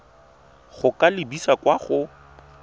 go ka lebisa kwa go